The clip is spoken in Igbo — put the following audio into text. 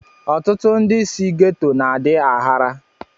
Ọtụtụ ndị si gétò na-adi aghara